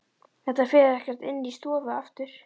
Þetta fer ekkert inn í stofu aftur!